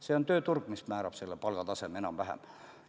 See on tööturg, mis määrab selle palgataseme enam-vähem.